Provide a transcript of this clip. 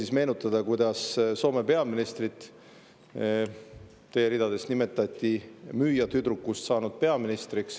Ma meenutan, kuidas Soome peaministri kohta teie ridades öeldi, et ühest müüjatüdrukust on saanud peaminister.